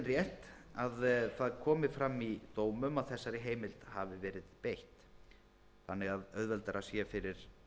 rétt að það komi fram í dómum að þessari heimild hafi verið beitt þannig að auðveldara sé fyrir